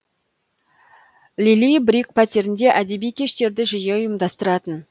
лили брик пәтерінде әдеби кештерді жиі ұйымдастыратын